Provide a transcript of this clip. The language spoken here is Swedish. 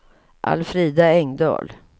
Alfrida Engdahl